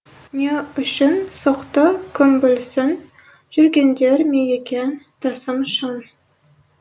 не үшін соқты кім білсін жүргендер ме екен тасып шын